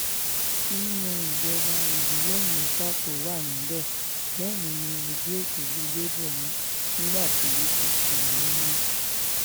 nínú ìjọba ìbílẹ̀ mẹ́fà tó wà níbẹ̀ mẹ́rin ni ẹgbẹ́ òsèlú labour mú nígbà tí apc mú méjì